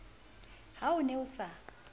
ha o ne a sa